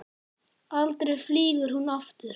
Aldrei flýgur hún aftur